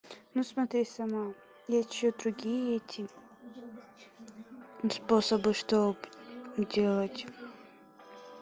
ну смотри сама есть ещё и другие эти способы что бы делать